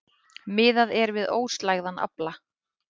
Miðað er við óslægðan afla